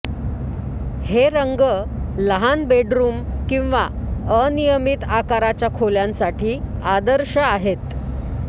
हे रंग लहान बेडरूम किंवा अनियमित आकाराच्या खोल्यांसाठी आदर्श आहे